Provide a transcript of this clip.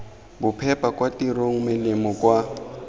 bophepa kwa tirong melemo kwa